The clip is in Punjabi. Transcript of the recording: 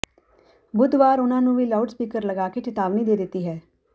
ਬੁੱਧਵਾਰ ਉਨ੍ਹਾਂ ਨੂੰ ਵੀ ਲਾਊਡ ਸਪੀਕਰ ਲਗਾ ਕੇ ਚਿਤਾਵਨੀ ਦੇ ਦਿੱਤੀ ਹੈ